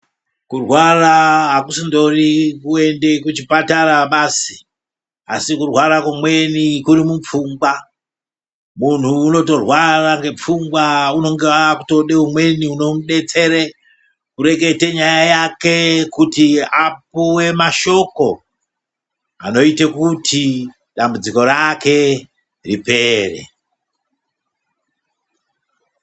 Kurwara hakusindori kuende kuchipatara basi asi kurwara kumweni kuri mupfungwa. Muntu unotorwara ngepfungwa kungaa kutode umweni unomubetsere kurekete nyaya yake kuti apuve mashoko, anoite kuti dambudziko rake ripere.